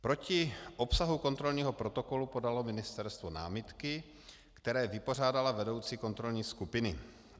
Proti obsahu kontrolního protokolu podalo ministerstvo námitky, které vypořádala vedoucí kontrolní skupiny.